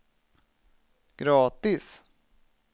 gratis